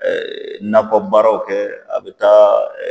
nakɔbaaraw kɛ a bɛ taa